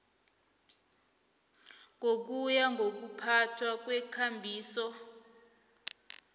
ngokuya ngokuphathwa kweekambiso